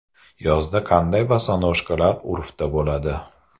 Yozda qanday bosonojkalar urfda bo‘ladi?.